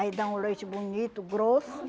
Aí dá um leite bonito, grosso.